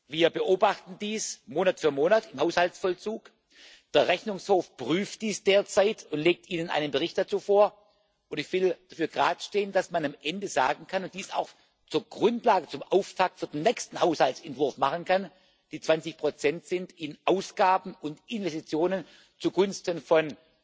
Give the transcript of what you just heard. ernst. Wir beobachten dies Monat für Monat im Haushaltsvollzug, der Rechnungshof prüft dies derzeit und legt Ihnen einen Bericht dazu vor, und ich will dafür geradestehen, dass man am Ende sagen kann und dies auch zur Grundlage, zum Auftakt für den nächsten Haushaltsentwurf machen kann Die 20 Prozent sind in Ausgaben und Investitionen zugunsten